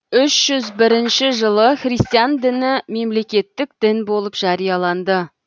үш жүз бірінші жылы христиан діні мемлекеттік дін болып жарияланды